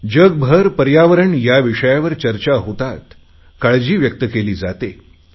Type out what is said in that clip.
जगभरात पर्यावरण या विषयावर चर्चा होतात काळजी व्यक्त केली जाते